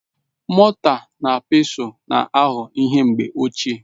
Mọta na Pestụl na-aghọ ihe mgbe ochie.